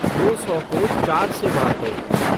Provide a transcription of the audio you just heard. दो सौ को चार से बाँटो